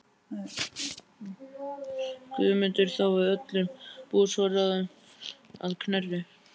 Guðmundur þá við öllum búsforráðum að Knerri.